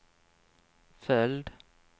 följd